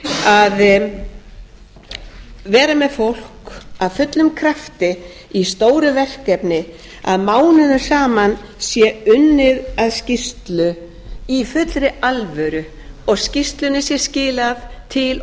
að vera með fólk af fullum krafti í stóru verkefni að mánuðum saman sé unnið að skýrslu í fullri alvöru og skýrslunni sé skilað til